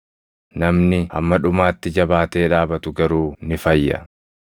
namni hamma dhumaatti jabaatee dhaabatu garuu ni fayya.